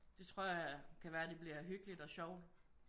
Det tror jeg kan være det bliver hyggeligt og sjovt